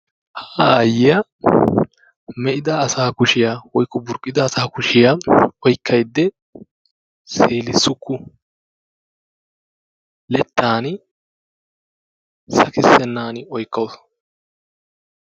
Ha aayyiya me'ida asaa kushiya woykko burqqida asa kushiya oykkaydda seelissukku. leddaani sakkissenaan oykkawus.